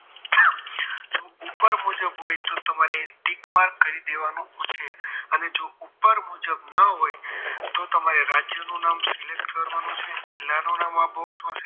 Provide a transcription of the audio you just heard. ઉપર મુજબ હોય તો તમારે ટીક mark કરી દેવાનું છે અને જો ઉપર મુજબ ન હોય તો તમારે રાજ્યનું નામ select કરવાનું છે જિલ્લાનું નામ આ box માં